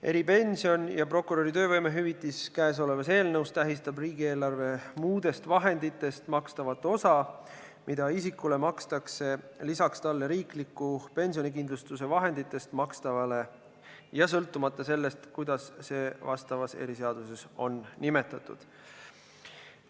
Eripension ja prokuröri töövõimehüvitis kõnesolevas eelnõus tähistab riigieelarve muudest vahenditest makstavat osa, mida isikule makstakse lisaks talle riikliku pensionikindlustuse vahenditest makstavale ja sõltumata sellest, kuidas see vastavas eriseaduses on nimetatud.